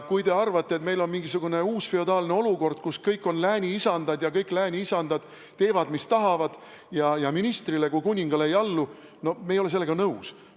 Kui te arvate, et meil on mingisugune uusfeodaalne olukord, kus kõik on lääniisandad ja kõik lääniisandad teevad, mis tahavad ja ministrile kui kuningale ei allu, siis me ei ole sellega nõus.